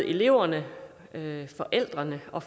eleverne og forældrene og